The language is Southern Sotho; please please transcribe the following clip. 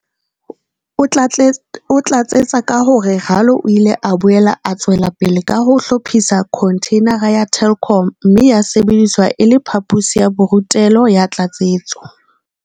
O tlatsetsa ka hore Ralo o ile a boela a tswela pele ka ho hlophisa khontheinara ya Telkom mme ya sebediswa e le phaposi ya borutelo ya tlatsetso.